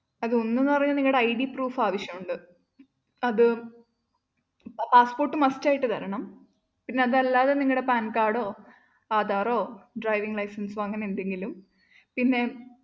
അത് ഒന്നെന്ന് പറഞ്ഞാല്‍ നിങ്ങടെ ID proof ആവശ്യമുണ്ട് അത് passport must ആയിട്ട് തരണം. പിന്നെ അതല്ലാതെ നിങ്ങടെ pan card ഓ ആധാറോ driving license ഓ അങ്ങനെ എന്തെങ്കിലും പിന്നെ